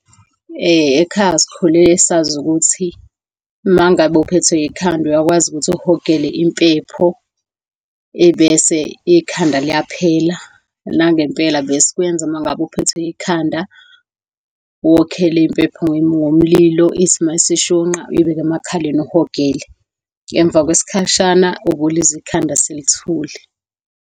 Ekhaya sikhule sazi ukuthi uma ngabe uphethwe ikhanda uyakwazi ukuthi uhogele impepho, ebese ikhanda liyaphela. Nangempela besikwenza uma ngabe uphethwe ikhanda, wokhele impepho ngomlilo, ithi mayisishunqa uyibeke emakhaleni uhogele. Emva kwesikhashana ubulizwa ikhanda selithule.